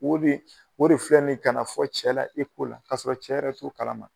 O de filɛ nin ye ka na fɔ cɛ ɲɛna la ka sɔrɔ cɛ yɛrɛ t'o kalama.